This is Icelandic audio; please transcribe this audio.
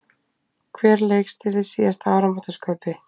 Hver leikstýrði síðasta áramótaskaupi?